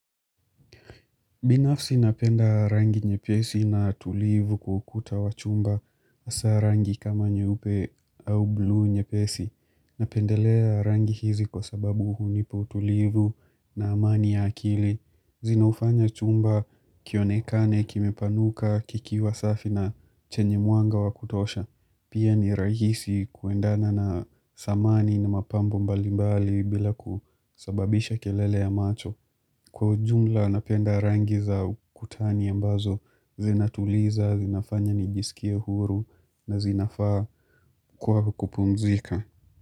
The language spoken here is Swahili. Binafsi napenda rangi nyepesi na tulivu kwa ukuta wa chumba hasa rangi kama nyeupe au bluu nyepesi. Napendelea rangi hizi kwa sababu hunipa utulivu na amani ya akili. Zinaufanya chumba kionekane kimepanuka, kikiwa safi na chenye mwanga wakutosha. Pia ni rahisi kuendana na samani na mapambo mbalimbali bila kusababisha kelele ya macho. Kwa ujumla napenda rangi za ukutani ambazo zinatuliza, zinafanya nijisikie huru na zinafaa kwa kukupumzika.